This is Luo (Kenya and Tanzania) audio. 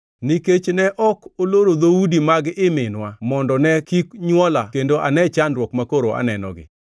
nikech ne ok oloro dhoudi mag ii minwa mondo ne kik nywola kendo ane chandruok makoro anenogi.